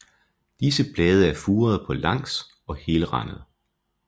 Disse blade er furede på langs og helrandede